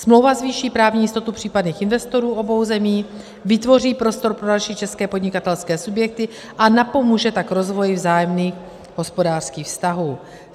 Smlouva zvýší právní jistotu případných investorů obou zemí, vytvoří prostor pro další české podnikatelské subjekty, a napomůže tak rozvoji vzájemných hospodářských vztahů.